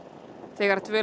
þegar dvöl